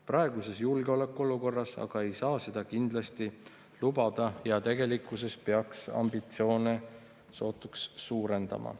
Praeguses julgeolekuolukorras ei saa seda aga kindlasti lubada ja tegelikkuses peaks ambitsioone sootuks suurendama.